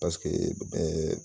Parseke bɛɛ